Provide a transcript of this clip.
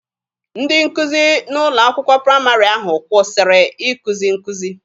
Ndị nkụzi n'ụlọ akwụkwọ praịmarị ahụ kwụsịrị ikuzi nkuzi.